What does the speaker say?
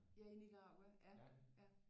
Ja i Nicaragua ja